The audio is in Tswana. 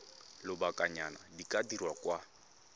lobakanyana di ka dirwa kwa